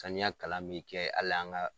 Saniya kalan bɛ kɛ ala an ka.